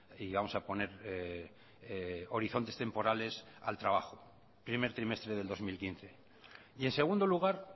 y vamos a poner horizontes temporales al trabajo primer trimestre del dos mil quince y en segundo lugar